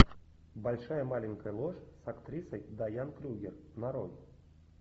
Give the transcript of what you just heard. большая маленькая ложь с актрисой дайан крюгер нарой